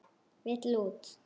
Vill út.